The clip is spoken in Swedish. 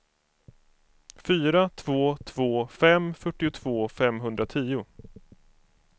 fyra två två fem fyrtiotvå femhundratio